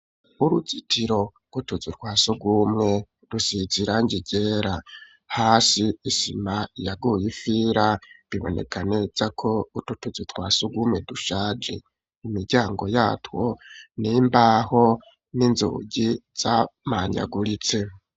Uruzitiro rw'utuzu twa sugumwe dusize irangi ryera hasi isima yaguye ifira biboneka neza ko utwo tuzu twasugumwe dushaje imiryango yatwo n'imbaho n'inzugi zamanyaguritse.